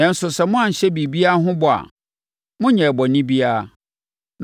Nanso, sɛ moanhyɛ biribiara ho bɔ a, monyɛɛ bɔne biara.